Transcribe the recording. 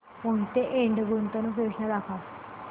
मोहिते इंड गुंतवणूक योजना दाखव